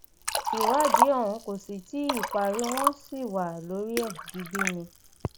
ìwádìí ọhún kò sì tí ì parí wọn sì wà lórí ẹ digbí ni